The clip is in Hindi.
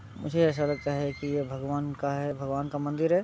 मुझे ऐसा लगता है कि ये भगवान का है भगवान का मंदिर है।